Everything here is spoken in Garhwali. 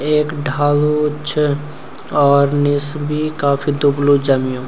एक ढालू च और निस बि काफी दुबलू जम्यूं।